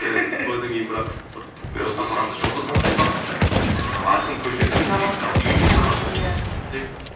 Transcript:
тойдан кейін бірақ жұлдыз жұлдыз қандай бақытты айқын көшеде емес үйге келіп тамақ ішеді екен